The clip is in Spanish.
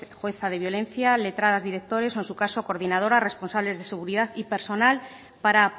jueza de violencia letradas directores o en su caso coordinadoras responsables de seguridad y personal para